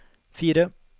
fire